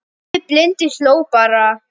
En afi blindi hló bara.